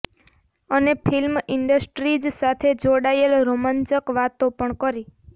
અને film industries સાથે જોડાયેલ રોમાંચક વાતો પણ કરી